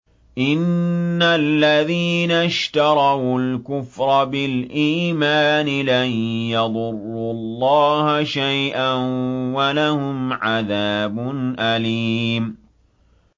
إِنَّ الَّذِينَ اشْتَرَوُا الْكُفْرَ بِالْإِيمَانِ لَن يَضُرُّوا اللَّهَ شَيْئًا وَلَهُمْ عَذَابٌ أَلِيمٌ